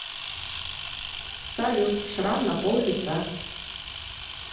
салют шрам на пол лица